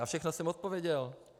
Na všechno jsem odpověděl.